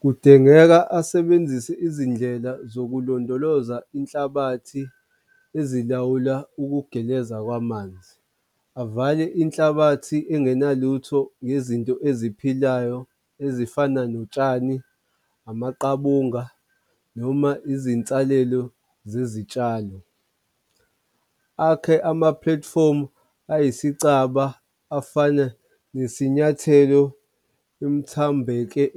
Kudingeka asebenzise izindlela zokulondoloza inhlabathi ezilawula ukugeleza kwamanzi. Avale inhlabathi engenalutho ngezinto eziphilayo ezifana notshani, amaqabunga noma izinsalelo zezitshalo. Akhe ama-platform-u ayisicaba afana nesinyathelo